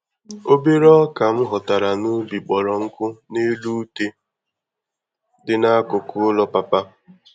Obere ọkà m ghọtara n'ubi kpọrọ nkụ n'elu ute dị n'akụkụ ụlọ papa